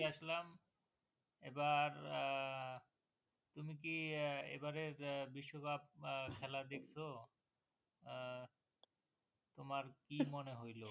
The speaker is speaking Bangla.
আসলাম । এবার আহ তুমি কি আহ এবারের বিশ্বকাপ আহ খেলা দেখছ? আহ তোমার কি মনে হইলো?